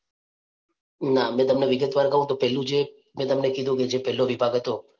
ના મે તમને વિગતવાર કવ તો પહેલું જે મે તમને કીધું કે પહલો જે વિભાગ હતો